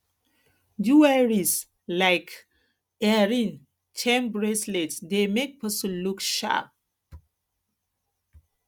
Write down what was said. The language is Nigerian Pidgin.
jewelries like jewelries like earring chain bracelets dey make person look sharp